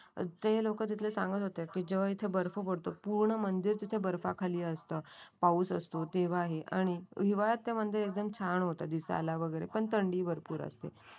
ते लोक तिथले सांगत होती जेव्हा बर्फ पडतो. पूर्ण म्हणजे तिथ बर्फाखाली असत. पाऊस असतो तेव्हाही आणि हिवाळा ते मंदिर एकदम छान होते दिसायला वगैरे पण थंडी भरपूर असते.